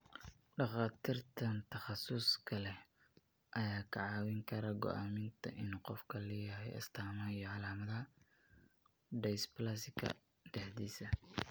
Dhakhaatiirtan takhasuska leh ayaa kaa caawin kara go'aaminta in qofku leeyahay astaamaha iyo calaamadaha dysplasika dexdisa.